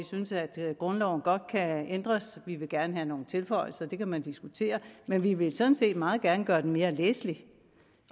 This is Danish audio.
synes at grundloven godt kan ændres vi vil gerne have nogle tilføjelser det kan man diskutere men vi vil sådan set meget gerne gøre den mere læselig